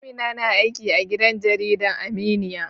Amina na aiki a gidan jarida Aminya